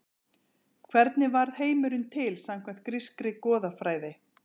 Hvernig varð heimurinn til samkvæmt grískri goðafræði?